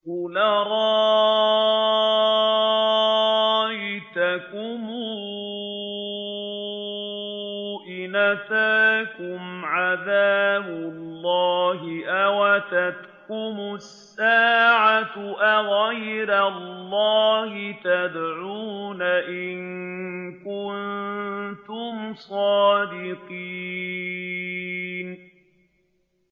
قُلْ أَرَأَيْتَكُمْ إِنْ أَتَاكُمْ عَذَابُ اللَّهِ أَوْ أَتَتْكُمُ السَّاعَةُ أَغَيْرَ اللَّهِ تَدْعُونَ إِن كُنتُمْ صَادِقِينَ